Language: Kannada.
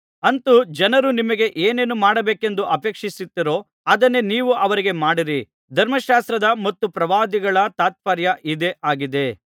ಅಂತು ಜನರು ನಿಮಗೆ ಏನೇನು ಮಾಡಬೇಕೆಂದು ಅಪೇಕ್ಷಿಸುತ್ತೀರೋ ಅದನ್ನೇ ನೀವು ಅವರಿಗೆ ಮಾಡಿರಿ ಧರ್ಮಶಾಸ್ತ್ರದ ಮತ್ತು ಪ್ರವಾದಿಗಳ ತಾತ್ಪರ್ಯ ಇದೇ ಆಗಿದೆ